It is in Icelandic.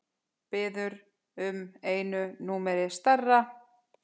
Biður um einu númeri stærra.